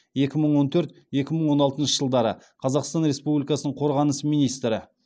екі мың он төрт екі мың он алтыншы жылдары қазақстан республикасының қорғаныс министрі